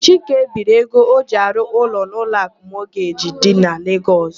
Chike biiri ego o ji arụ ụlọ n'Ụlọakụ Mọgeji dị na Legọs.